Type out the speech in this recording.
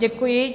Děkuji.